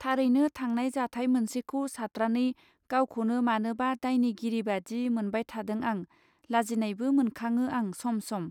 थारैनो थांनाय जाथाय मोनसेखौ सात्रानै गावखौनो मानोबा दायनि गिरिबादि मोनबायथादों आं लाजिनायबो मोनखाङो आं सम सम.